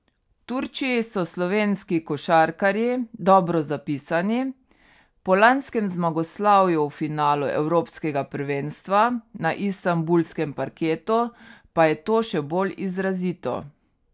V Turčiji so slovenski košarkarji dobro zapisani, po lanskem zmagoslavju v finalu evropskega prvenstva na istanbulskem parketu, pa je to še bolj izrazito.